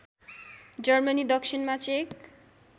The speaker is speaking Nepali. जर्मनी दक्षिणमा चेक